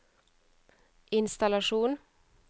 innstallasjon